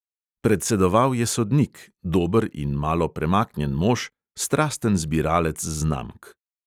Predsedoval je sodnik, dober in malo premaknjen mož, strasten zbiralec znamk.